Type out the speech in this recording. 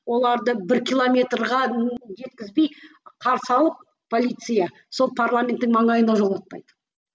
оларды бір километрге жеткізбей қарсы алып полиция сол парламенттің маңайына жолатпайды